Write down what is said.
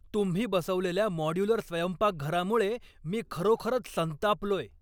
तुम्ही बसवलेल्या मॉड्यूलर स्वयंपाकघरामुळे मी खरोखरच संतापलोय.